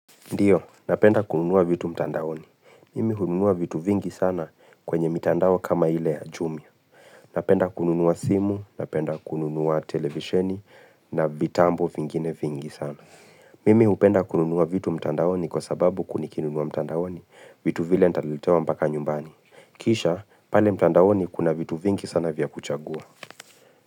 Ndiyo, napenda kununua vitu mtandaoni. Mimi hununua vitu vingi sana kwenye mitandao kama hile jumia. Napenda kununua simu, napenda kununua televisheni na vitambo vingine vingi sana. Mimi upenda kununua vitu mtandaoni kwa sababu nikinunua mtandaoni vitu vile nitaletewa mpaka nyumbani. Kisha, pale mtandaoni kuna vitu vingi sana vya kuchagua.